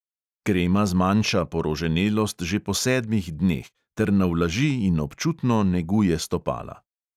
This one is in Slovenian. Krema zmanjša poroženelost že po sedmih dneh ter navlaži in občutno neguje stopala.